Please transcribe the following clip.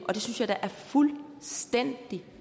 synes jeg da er fuldstændig